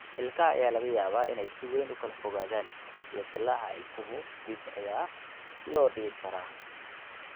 Ilkaha ayaa laga yaabaa inay si weyn u kala fogaadaan, iyo dillaaca ilkahu (ilmaha ama dadka waaweyn) dib ayaa loo dhigi karaa.